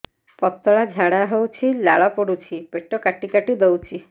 ପତଳା ଝାଡା ହଉଛି ଲାଳ ପଡୁଛି ପେଟ କାଟି କାଟି ଦଉଚି